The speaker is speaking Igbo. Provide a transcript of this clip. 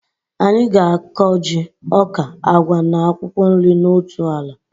Anyị ga-akọ ji, ọka, agwa na akwụkwọ nri na otu ala